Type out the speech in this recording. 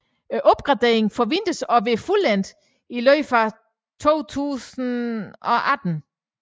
Opgraderingen forventes at være fuldendt i løbet af 2018